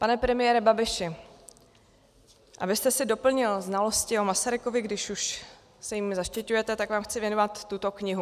Pane premiére Babiši, abyste si doplnil znalosti o Masarykovi, když už se jím zaštiťujete, tak vám chci věnovat tuto knihu.